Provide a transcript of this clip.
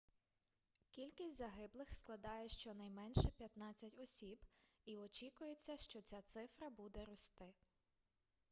кількість загиблих складає щонайменше 15 осіб і очікується що ця цифра буде рости